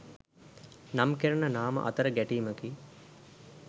නම් කෙරෙන නාම අතර ගැටීමකි